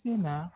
Se na